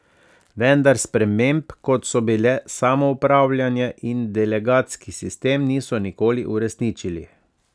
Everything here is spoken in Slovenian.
Vendar sprememb, kot so bile samoupravljanje in delegatski sistem, niso nikoli uresničili.